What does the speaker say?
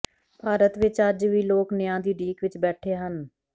ਭਾਰਤ ਵਿਚ ਅੱਜ ਵੀ ਲੋਕ ਨਿਆਂ ਦੀ ਉਡੀਕ ਵਿਚ ਬੈਠੇ ਹਨ